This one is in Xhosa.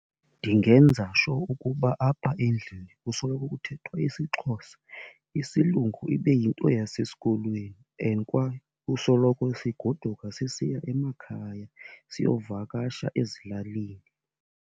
Ndingenza sure ukuba apha endlini kusoloko kuthethwa isiXhosa, isilungu ibe yinto yasesikolweni. And kwaye kusoloko sigoduka sisiya emakhaya, siyovakasha ezilalini.